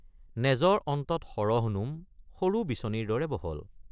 নেজৰ অন্তত সৰহ নোম সৰু বিচনীৰ দৰে বহল।